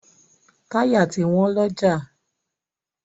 Táyà ti wọ́n lọ́jà.